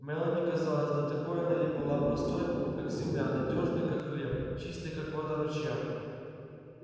мелани казалась да такой она и была простой как земля надёжной как хлеб чистой как вода ручья